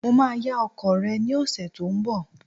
Mo máa yá ọkọ̀ rẹ ní ọ̀sẹ̀ tó ń bọ̀.